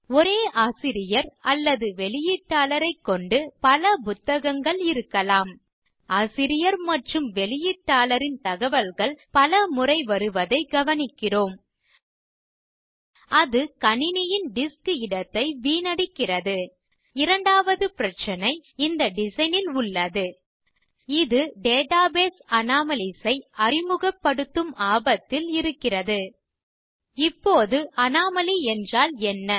ஒரே ஆசிரியர் அல்லது வெளியீட்டாளரைக் கொண்டு பல புத்தகங்கள் இருக்கலாம் ஆசிரியர் மற்றும் வெளியீட்டாளரின் தகவல்கள் பல முறை வருவதைக் கவனிக்கிறோம் அது கணினியின் டிஸ்க் இடத்தை வீணடிக்கிறது இரண்டாவது பிரச்சனை இந்த டிசைன் ல் உள்ளது இது டேட்டாபேஸ் anomaliesஐ அறிமுகபடுத்தும் ஆபத்தில் இயங்குகிறது இப்போது அனோமலி என்றால் என்ன